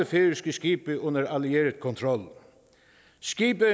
færøske skibe under allieret kontrol skibe